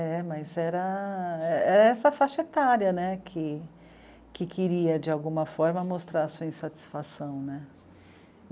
É, mas era... essa faixa etária, né, que... que queria, de alguma forma, mostrar a sua insatisfação, né.